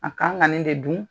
A kan ka ni de dun.